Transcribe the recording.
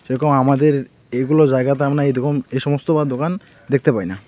দেখো আমাদের এগুলো জায়গাতে আমরা এরকম এসমস্ত বা দোকান দেখতে পাই না।